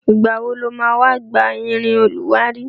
Ìgbà wo lo ma wá gba irin olùwárí?